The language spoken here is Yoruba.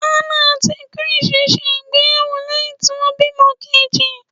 Hannah àti Chris ṣe ìgbéyàwó lẹ́hìn tí wọ́n bímọ meji.